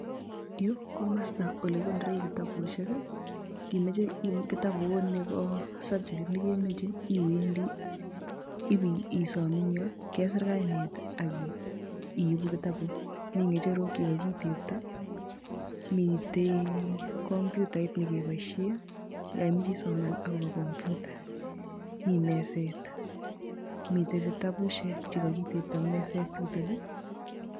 Yu komasta ole kikonore kitabusiek. Ngimeche kitabut nebo subjekit nekemoche iwendi ibisom engyo kesir kainet akiibu kitabut. Mi ngecherok chekaki tepto mitei komputa nekeboisie yaimeche isoman akobo komputa. Mi meset mite kitabusiek chekakitepto eng meset chutok.